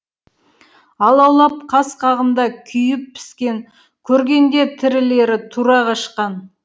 алаулап қас қағымда күйіп піскен көргенде тірілері тұра қашқан